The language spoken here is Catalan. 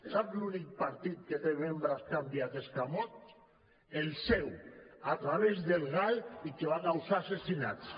sap l’únic partit que té membres que han enviat escamots el seu a través del gal i que va causar assassinats